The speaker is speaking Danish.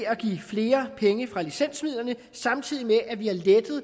at give flere penge fra licensmidlerne samtidig med at vi har